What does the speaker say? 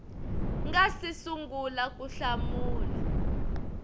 nga si sungula ku hlamula